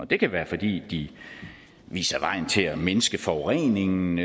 det kan være fordi de viser vejen til at mindske forureningen